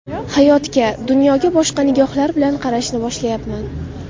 Hayotga, dunyoga boshqa nigohlar bilan qarashni boshlayapman.